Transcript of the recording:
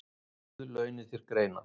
Guð launi þér greiðann